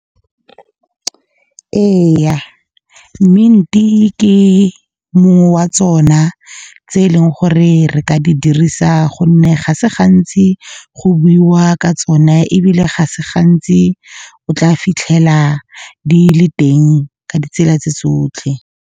Eye, mint-e ke mongwe wa tsona, tse eleng gore re ka di dirisa, gonne ga se gantsi go buiwa ka tsone, ebile ga se gantsi o tla fitlhela di le teng ka ditsela tse tsotlhe.